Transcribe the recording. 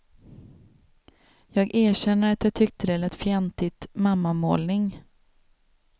Jag erkänner att jag tyckte det lät fjantigt, mammamålning.